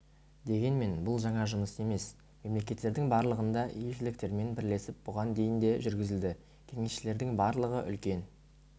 дегенмен бұл жаңа жұмыс емес мемлекеттердің барлығында елшіліктермен бірлесіп бұған дейін де жүргізілді кеңесшілердің барлығы үлкен